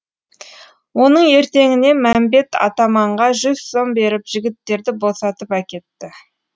оның ертеңіне мәмбет атаманға жүз сом беріп жігіттерді босатып әкетті